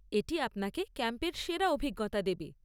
এটি আপনাকে ক্যাম্পের সেরা অভিজ্ঞতা দেবে।